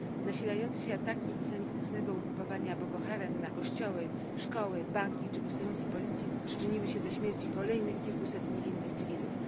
Nasilające się ataki islamistycznego ugrupowania Boko Haram na kościoły, szkoły, banki czy posterunki policji przyczyniły się do śmierci kolejnych kilkuset niewinnych cywilów.